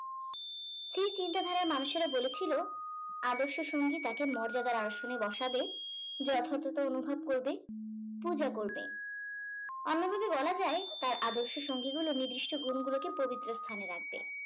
স্থির চিন্তাধারার মানুষেরা বলেছিল আদর্শ সঙ্গী তাকে মর্যাদার আসনে বসাবে যথার্থতা অনুভব করবে পূজা করবে অন্যভাবে বলা যাই তার আদর্শ সঙ্গী গুলো নির্দিষ্ট গুন্ গুলোকেপবিত্র স্থানে রাখবে